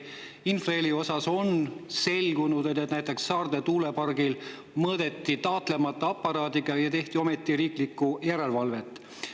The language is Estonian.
Infraheli osas on selgunud, et näiteks Saarde tuulepargil mõõdeti seda taatlemata aparaadiga, ometi tehti riiklikku järelevalvet.